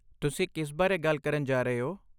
ਤੁਸੀਂ ਕਿਸ ਬਾਰੇ ਗੱਲ ਕਰਨ ਜਾ ਰਹੇ ਹੋ?